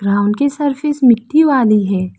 Ground की surface मिट्टी वाली है।